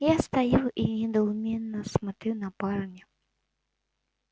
я стою и недоуменно смотрю на парня